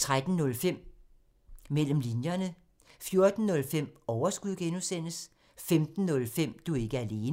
13:05: Mellem linjerne 14:05: Overskud (G) 15:05: Du er ikke alene